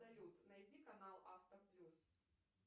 салют найди канал авто плюс